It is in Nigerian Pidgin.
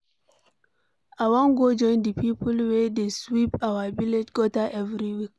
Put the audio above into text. I wan go join the people wey dey sweep our village gutter every week.